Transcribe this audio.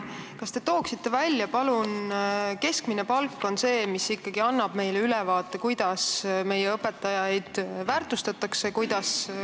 Keskmine palk on ikkagi see, mis annab ülevaate, kuidas meie õpetajaid väärtustatakse.